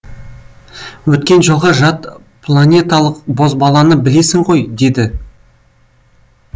өткен жолғы жатпланеталық бозбаланы білесің ғой деді